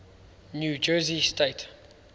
new jersey state